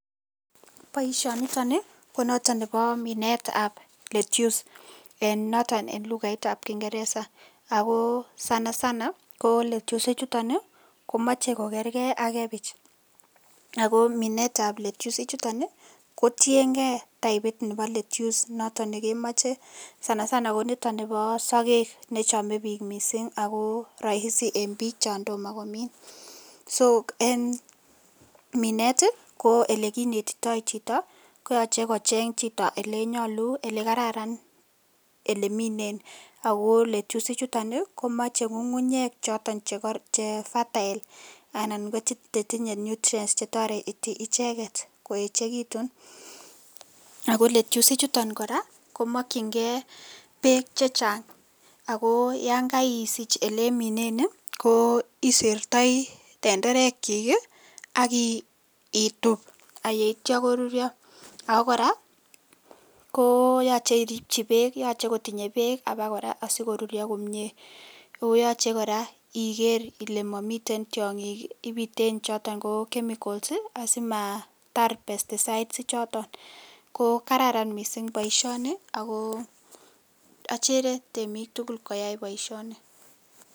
Boisioniton konoton nebo minetab lettuce ee noton en lukaitab kingereza, ako sana sana ko lettuce ichuton ii komoche kogerger ak kebich ako minetab lettuce ichuton ii kotiengee taipit nebo lettuce noton nekemoche sana sana koniton nibo sokek nechome bik missing' ako roisi en bik chondomo komin, so en minet ii ko elekinetito chito koyoche kocheng chito elenyolu elekararan eleminen, ako lettuce ichuton ii komoche ngungunyek choton che fertile anan kochetinye nutrients chetoreti icheket koechekitun, ako lettuce ichuton koraa komokchingee beek chechang ako yon koidich eleminen ii isertoi tenderekchik ii ak itup ak ityo korurio, ako koraa koyoche iripchi beek yoche kotinye beek abokoraa asikorurio komie o yoche koraa iker ile momiten tiongik ibiten choton ko chemicals ii asimatar pesticides ichoton ko kararan missing' boisioni ako ochere temik tugul koyai boisioni.